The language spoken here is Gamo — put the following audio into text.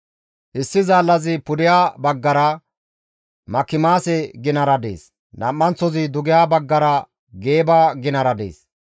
Issi zaallazi pudeha baggara Makimaase ginara dees; nam7anththozi dugeha baggara Geeba ginara dees.